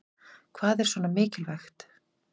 Hvað er svona mikilvægt